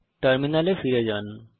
টার্মিনালে ফিরে যান